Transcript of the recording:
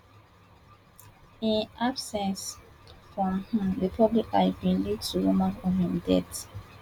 im absence from di public eye bin lead to rumours of im death